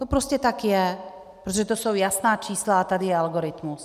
To prostě tak je, protože to jsou jasná čísla a tady je algoritmus.